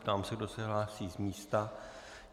Ptám se, kdo se hlásí z místa.